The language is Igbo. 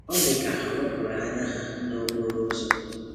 Ọ dị ka ha wepụrụ anya ha n’okporo ụzọ.